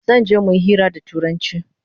Zanje muyi hira da turanchi